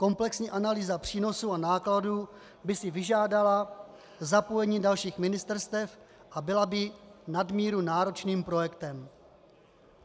Komplexní analýza přínosů a nákladů by si vyžádala zapojení dalších ministerstev a byla by nadmíru náročným projektem.